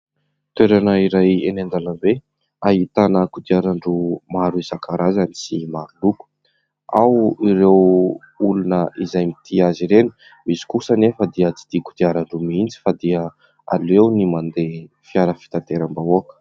Toerana iray eny an-dalambe ahitana kodiaran-droa maro isan-karazany sy maro loko. Ao no olona izay mitia azy ireny, misy kosa anefa dia tsy dia kodiaran-droa mihitsy fa dia aleony mandeha fiara fitateram-bahoaka.